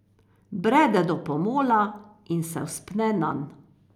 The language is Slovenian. Brede do pomola in se vzpne nanj.